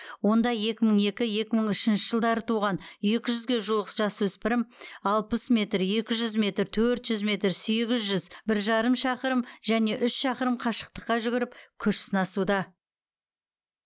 онда екі мың екі екі мың үшінші жылдары туған екі жүзге жуық жасөспірім алпыс метр екі жүз метр төрт жүз метр сегіз жүз бір жарым шақырым және үш шақырым қашықтыққа жүгіріп күш сынасуда